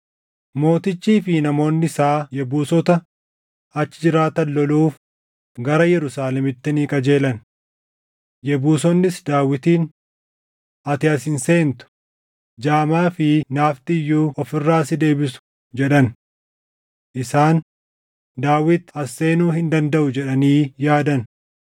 Mootichii fi namoonni isaa Yebuusota achi jiraatan loluuf gara Yerusaalemitti ni qajeelan. Yebuusonnis Daawitiin, “Ati as hin seentu; jaamaa fi naafni iyyuu of irraa si deebisu” jedhan. Isaan, “Daawit as seenuu hin dandaʼu” jedhanii yaadan.